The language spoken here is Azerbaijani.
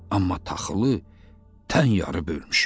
Amma taxılı tən yarı bölmüşük.